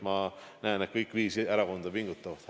Ma näen, et kõik viis erakonda pingutavad.